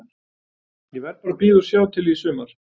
Ég verð bara að bíða og sjá til í sumar.